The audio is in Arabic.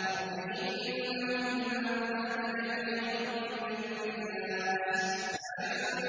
رَبِّ إِنَّهُنَّ أَضْلَلْنَ كَثِيرًا مِّنَ النَّاسِ ۖ